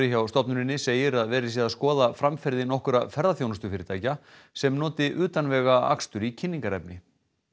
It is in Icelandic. hjá stofnuninni segir að verið sé að skoða framferði nokkurra ferðaþjónustufyrirtækja sem noti utanvegaakstur í kynningarefni